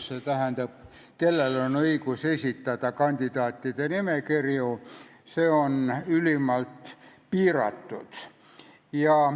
See tähendab, et nende ring, kellel on õigus esitada kandidaatide nimekirju, on ülimalt piiratud.